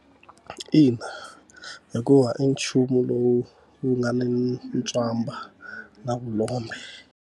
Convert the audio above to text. Ina hikuva i nchumu lowu wu nga ni ntswamba na vulombe.